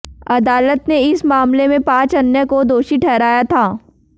अदालत ने इस मामले में पांच अन्य को दोषी ठहराया था